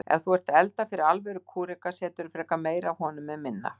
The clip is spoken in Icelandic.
Ef þú ert að elda fyrir alvöru kúreka seturðu frekar meira af honum en minna.